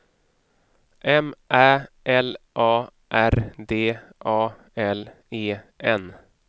M Ä L A R D A L E N